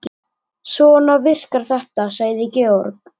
Svona virkar þetta, sagði Georg.